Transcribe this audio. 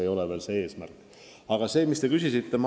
Nii et eesmärk ei ole veel käes.